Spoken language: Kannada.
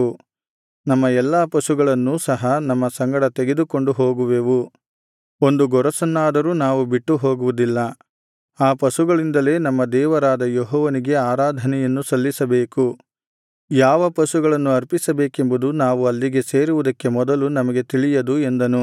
ನಮ್ಮ ಎಲ್ಲಾ ಪಶುಗಳನ್ನೂ ಸಹ ನಮ್ಮ ಸಂಗಡ ತೆಗೆದುಕೊಂಡು ಹೋಗುವೆವು ಒಂದು ಗೊರಸನ್ನಾದರೂ ನಾವು ಬಿಟ್ಟು ಹೋಗುವುದಿಲ್ಲ ಆ ಪಶುಗಳಿಂದಲೇ ನಮ್ಮ ದೇವರಾದ ಯೆಹೋವನಿಗೆ ಆರಾಧನೆಯನ್ನು ಸಲ್ಲಿಸಬೇಕು ಯಾವ ಪಶುಗಳನ್ನು ಅರ್ಪಿಸಬೇಕೆಂಬುದು ನಾವು ಅಲ್ಲಿಗೆ ಸೇರುವುದಕ್ಕೆ ಮೊದಲು ನಮಗೆ ತಿಳಿಯದು ಎಂದನು